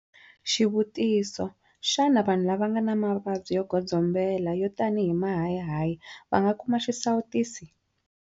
Xivutiso- Xana vanhu lava nga na mavabyi yo godzo mbela, yo tanihi mahayihayi, va nga kuma xisawutisi?